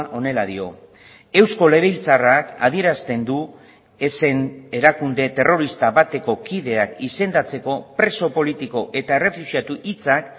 honela dio eusko legebiltzarrak adierazten du ezen erakunde terrorista bateko kideak izendatzeko preso politiko eta errefuxiatu hitzak